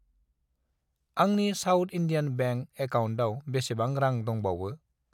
आंनि South Indian Bank एकाउन्टाव बेसेबां रां दंबावो?